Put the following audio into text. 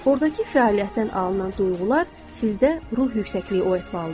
ordakı fəaliyyətdən alınan duyğular sizdə ruh yüksəkliyi oyatmalıdır.